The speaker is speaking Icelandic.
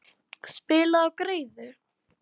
Spilaðu á greiðu.